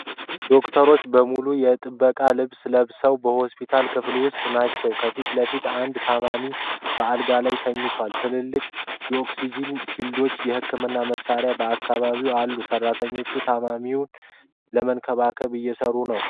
ዶክተሮች በሙሉ የጥበቃ ልብስ ለብሰው በሆስፒታል ክፍል ውስጥ ናቸው። ከፊት ለፊት አንድ ታማሚ በአልጋ ላይ ተኝቷል። ትልልቅ የኦክስጂን ሲሊንደሮችና የሕክምና መሣሪያዎች በአካባቢው አሉ። ሠራተኞቹ ታማሚውን ለመንከባከብ እየሠሩ ነው።